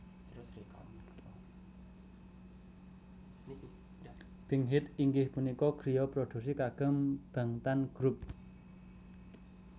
Big Hit inggih punika griya produksi kagem Bangtan Grup